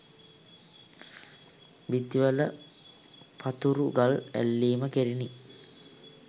බිත්තිවල පතුරු ගල් ඇල්ලීම කෙරිණි